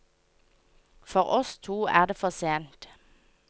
For oss to er det for sent.